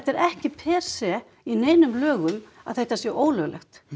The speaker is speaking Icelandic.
er ekki per se í neinum lögum að þetta sé ólöglegt